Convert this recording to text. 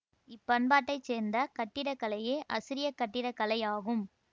இப் பண்பாட்டை சேர்ந்த கட்டிடக்கலையே அசிரியக் கட்டிடக்கலை ஆகும்